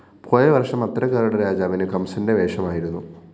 പോയവര്‍ഷം അത്തരക്കാരുടെ രാജാവിന് കംസന്റെ വേഷമായിരുന്നു